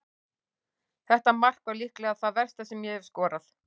Þetta mark var líklega það versta sem ég hef skorað.